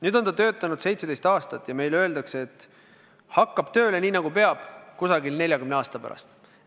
Nüüd on süsteem töötanud 17 aastat ja meile öeldakse, et see hakkab tööle nii, nagu peab, umbes 40 aasta pärast.